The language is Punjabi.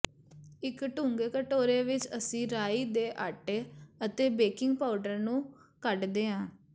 ਇੱਕ ਡੂੰਘੇ ਕਟੋਰੇ ਵਿੱਚ ਅਸੀਂ ਰਾਈ ਦੇ ਆਟੇ ਅਤੇ ਬੇਕਿੰਗ ਪਾਊਡਰ ਨੂੰ ਕੱਢਦੇ ਹਾਂ